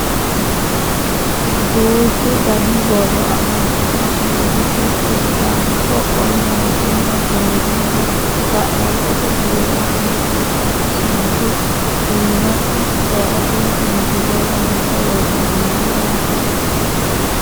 duuchu dani borro amadino sumudi giddo sidaamu qoqqowi mootimma keerunna ga'labbote biiro egensiisanno sumudi iimasi ce"chote misile loonse worroonniho yaate